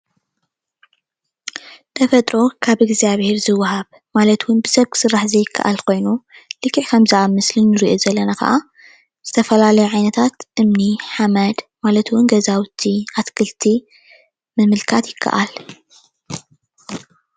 ተፈጥሮ ካብ እዝጋቢሄር ዝወሃብ ማለት እውን ብሳብ ክስራሕ ዘይካኣል ኮይኑ ልክዕ ከምቲ ኣብ ምስሊ እንሪኦ ከዓ ዝተፈላለዩ ዓየነታት እምኒ፣ ሓመድ ማለት እውን ገዛውቲ ኣትክልቲ ምምልካት ይካኣል፡፡